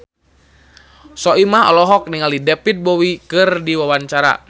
Soimah olohok ningali David Bowie keur diwawancara